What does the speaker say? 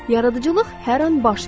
Yaradıcılıq hər an baş verir.